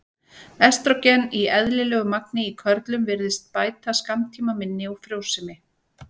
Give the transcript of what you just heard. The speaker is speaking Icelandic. Estrógen í eðlilegu magni í körlum virðist bæta skammtímaminni og frjósemi.